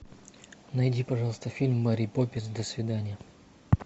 найди пожалуйста фильм мэри поппинс до свидания